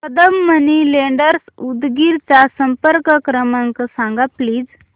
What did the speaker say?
Kadam money lenders Udgir चा संपर्क क्रमांक सांग प्लीज